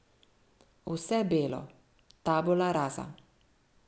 Vse belo, tabula rasa.